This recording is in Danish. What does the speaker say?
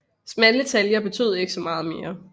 Smalle taljer betød ikke så meget mere